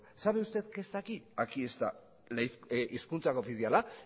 sabe usted qué está aquí aquí está hizkuntza koofiziala